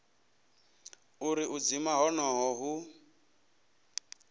uri u dzima honoho hu